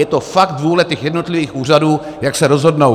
Je to fakt vůle těch jednotlivých úřadů, jak se rozhodnou.